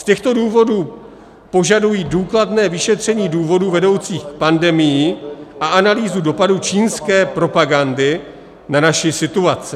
Z těchto důvodů požaduji důkladné vyšetření důvodů vedoucích k pandemii a analýzu dopadů čínské propagandy na naši situaci.